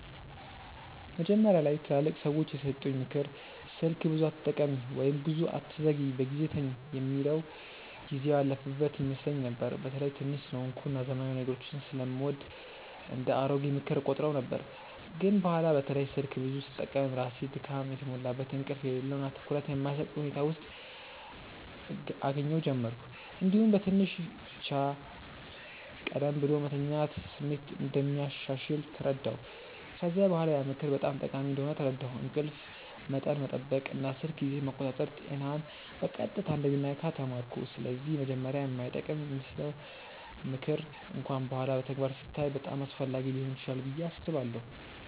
መጀመሪያ ላይ ትላልቅ ሰዎች የሰጡኝ “ምክር ስልክ ብዙ አትጠቀሚ” ወይም “ብዙ አትዘግይ በጊዜ ተኝ” የሚል ጊዜው ያለፈበት ይመስለኝ ነበር። በተለይ ትንሽ ስለሆንኩ እና ዘመናዊ ነገሮችን ስለምወድ እንደ “አሮጌ ምክር” እቆጥረው ነበር። ግን በኋላ በተለይ ስልክ ብዙ ስጠቀም ራሴን ድካም የተሞላበት፣ እንቅልፍ የሌለው እና ትኩረት የማይሰጥ ሁኔታ ውስጥ እገኛ ጀመርሁ። እንዲሁም በትንሽ ብቻ ቀደም ብሎ መተኛት ስሜት እንደሚያሻሽል ተረዳሁ። ከዚያ በኋላ ያ ምክር በጣም ጠቃሚ እንደሆነ ተረዳሁ፤ እንቅልፍ መጠን መጠበቅ እና ስልክ ጊዜን መቆጣጠር ጤናን በቀጥታ እንደሚነካ ተማርኩ። ስለዚህ መጀመሪያ የማይጠቅም ይመስለው ምክር እንኳን በኋላ በተግባር ሲታይ በጣም አስፈላጊ ሊሆን ይችላል ብዬ አስባለሁ።